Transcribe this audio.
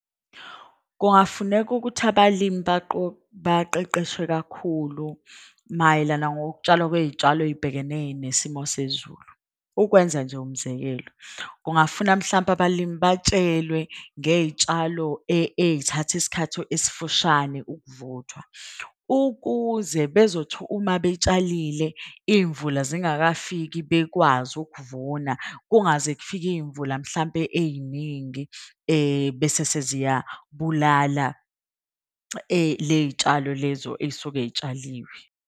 Kungafuneka ukuthi abalimi baqeqeshwe kakhulu. Mayelana ngokutshalwa kwey'tshalo ey'bhekene nesimo sezulu. Ukwenza nje umzekelo, kungafuna mhlampe abalimi batshelwe ngey'tshalo ey'thatha isikhatho esifushane ukuvuthwa. Ukuze bezothi uma betshalile iy'mvula zingakafiki bekwazi ukuvuna. Kungaze kufike iy'mvula mhlampe ey'ningi bese seziyabulala ley'tshalo lezo ey'suke y'tshaliwe.